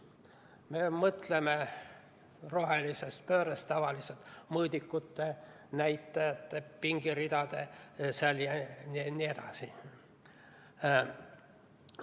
Me mõtleme rohelisest pöördest rääkides tavaliselt mõõdikute, näitajate, pingeridade jne peale.